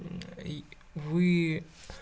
вы